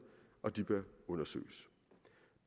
og de bør undersøges